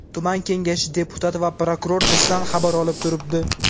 Tuman kengashi deputati va prokuror bizdan xabar olib turibdi.